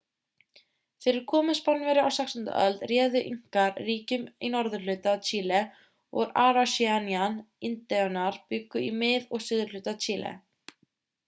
fyrir komu spánverja á 16. öld réðu inkar ríkjum í norðurhluta chile og araucanian-indíánar bjuggu í mið og suðurhluta chile